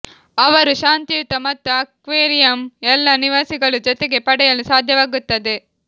ಅವರು ಶಾಂತಿಯುತ ಮತ್ತು ಅಕ್ವೇರಿಯಂ ಎಲ್ಲಾ ನಿವಾಸಿಗಳು ಜೊತೆಗೆ ಪಡೆಯಲು ಸಾಧ್ಯವಾಗುತ್ತದೆ